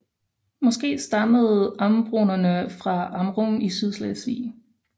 Måske stammede ambronerne fra Amrum i Sydslesvig